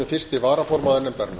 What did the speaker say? fyrsti varaformaður nefndarinnar